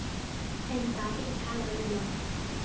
En gat ekki talað um það.